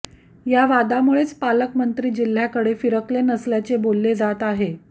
या वादामुळेच पालकमंंत्री जिल्ह्याकडे फिरकले नसल्याचे बोलले जात आहे